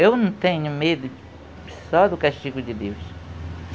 Eu não tenho medo, só do castigo de Deus.